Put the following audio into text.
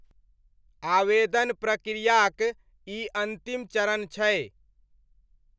आवेदन प्रक्रियाक ई अन्तिम चरण छै।